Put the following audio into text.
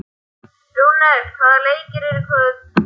Rúnel, hvaða leikir eru í kvöld?